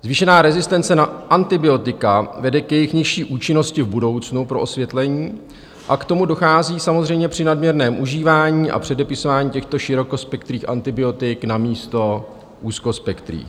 Zvýšená rezistence na antibiotika vede k jejich nižší účinnosti v budoucnu, pro osvětlení, a k tomu dochází samozřejmě při nadměrném užívání a předepisování těchto širokospektrých antibiotik namísto úzkospektrých.